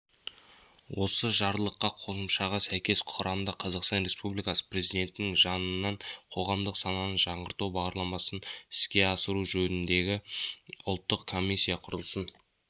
осы жарлыққа қосымшаға сәйкес құрамда қазақстан республикасы президентінің жанынан қоғамдық сананы жаңғырту бағдарламасын іске асыру жөніндегі ұлттық комиссия құрылсын